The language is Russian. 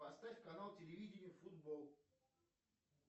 поставь канал телевидения футбол